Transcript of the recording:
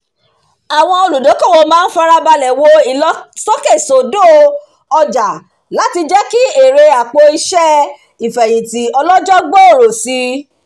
àwọn olùdókòwò máa ń farabalẹ̀ wo ìlọsókèsódò ọjà láti jẹ́ kí èrè àpò-iṣẹ́ ìfẹ̀yìntì ọlọ́jọ́ gbòòrò si